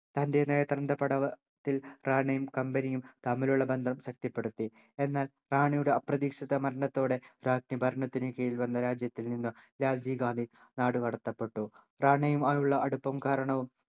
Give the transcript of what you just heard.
തൻ്റെ നേട്ടത്തിൻ്റെ പാടവ ത്തിൽ റാണയും company യും തമ്മിലുള്ള ബന്ധം ശക്തിപ്പെടുത്തി എന്നാൽ റാണയുടെ അപ്രതീക്ഷിത മരണത്തോടെ രാജ്ഞി ഭരണത്തിന് കീഴിൽ വന്ന രാജ്യത്തിൽ നിന്നും രാജീവ് ഗാന്ധി നാടുകടത്തപ്പെട്ടു റാണയുമായുള്ള അടുപ്പം കാരണവും